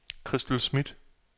Christel Smidt